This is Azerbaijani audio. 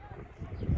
Ay mama, hardasan?